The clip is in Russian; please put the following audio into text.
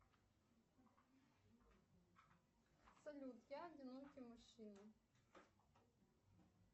салют я одинокий мужчина